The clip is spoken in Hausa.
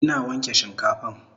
Ina wanke shinkafan